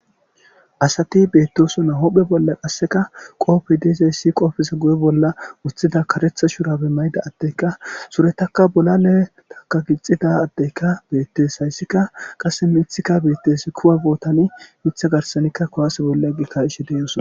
asati bettossona huphphe bolla qassekka qopey de'zayssi qopeza guye bolla woththida kareththa shurabe mayda addeyka surettakka bolaletaka gixidda addeykka betees hayssikka qasse miththikka betees kuwa bootani miththa garsanikka kuwase olla bii ka'shshe de'ossona